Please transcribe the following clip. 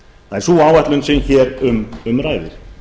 það er sú áætlun sem hér um ræðir